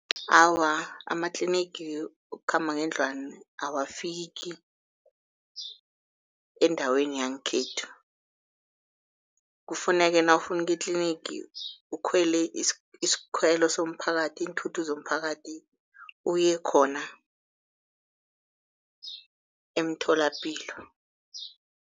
Awa, amatlinigi wokukhamba ngendlwani awafiki endaweni yangekhethu. Kufuneka nawufuna ukuya etlinigi ukhwele isikhwelo somphakathi, iinthuthi zomphakathi uye khona emtholapilo.